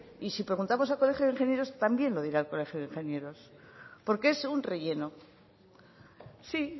y si preguntamos al colegio de ingenieros también lo dirá el colegio de ingenieros porque es un relleno sí